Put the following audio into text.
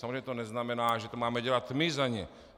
Samozřejmě to neznamená, že to máme dělat my za ně.